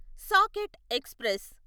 socket express